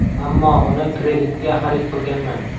Ammo uni kreditga xarid qilganman.